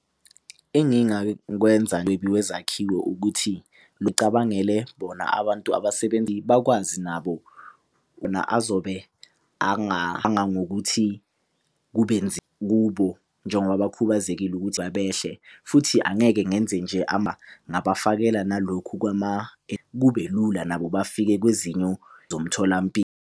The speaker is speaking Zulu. Engingakwenza ukuthi lucabangele bona abantu bakwazi nabo .